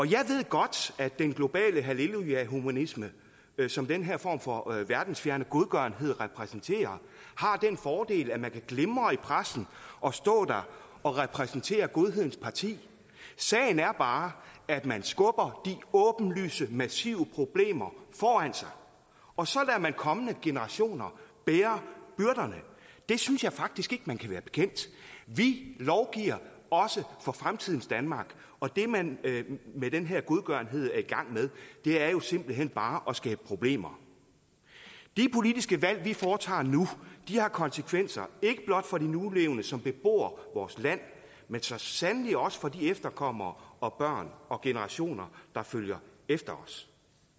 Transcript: jeg ved godt at den globale hallelujahumanisme som den her form for verdensfjerne godgørenhed repræsenterer har den fordel at man kan glimre i pressen og stå der og repræsentere godhedens parti sagen er bare at man skubber de åbenlyse massive problemer foran sig og så lader man kommende generationer bære byrderne det synes jeg faktisk ikke man kan være bekendt vi lovgiver også for fremtidens danmark og det man med den her godgørenhed er i gang med er jo simpelt hen bare at skabe problemer de politiske valg vi foretager nu har konsekvenser ikke blot for de nulevende som bebor vores land men så sandelig også for de efterkommere og børn og generationer der følger efter os